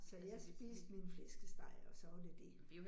Så jeg spiste min flæskesteg, og så var det det